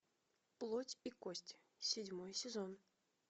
плоть и кости седьмой сезон